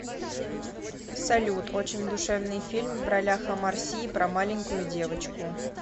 салют очень душевный фильм в ролях омар си и про маленькую девочку